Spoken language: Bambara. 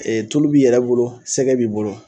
tulu b'i yɛrɛ bolo sɛgɛ b'i bolo.